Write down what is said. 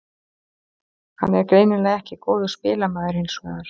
Hann er greinilega ekki góður spilamaður hinsvegar.